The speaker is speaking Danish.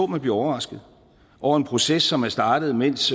man bliver overrasket over en proces som er startet mens